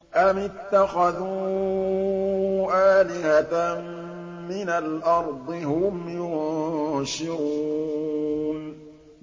أَمِ اتَّخَذُوا آلِهَةً مِّنَ الْأَرْضِ هُمْ يُنشِرُونَ